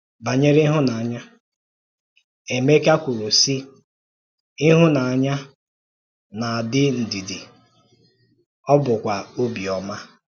Banyere ìhụ́nànyà, Eméka kwùrù sị̀: “Ìhụ́nànyà na-adị́ ndídí, ọ bụ̀kwa ọ̀bịọ́mà.